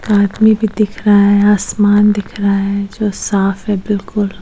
आदमी भी दिख रहा है आसमान दिख रहा है जो साफ है बिलकुल --